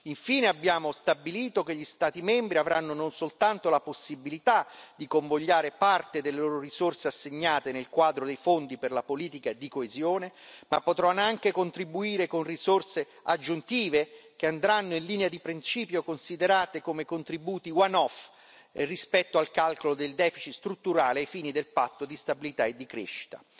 Infine, abbiamo stabilito che gli Stati membri avranno non soltanto la possibilità di convogliare parte delle loro risorse assegnate nel quadro dei fondi per la politica di coesione, ma potranno anche contribuire con risorse aggiuntive che andranno, in linea di principio, considerate come contributi one off rispetto al calcolo del deficit strutturale ai fini del patto di stabilità e di crescita.